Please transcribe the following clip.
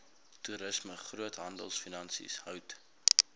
toerisme groothandelfinansies hout